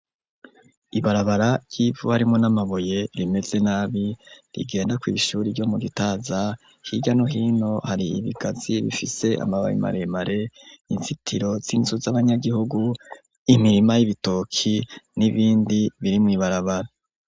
Ibarabara ry'ivu ririmwo n'amabuye rimeze nabi rigenda kw'ishuri ryo mu gitaza higamwo hano hari ibigazi bifise amababi maremare inzitiro z'inzu z'abanyagihugu imirima y'ibitoki n'ibindi biri mu ibarabara.